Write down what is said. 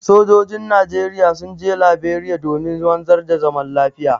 Sojojin Najeriya sun je Laberiya domin wanzar da zaman lafiya.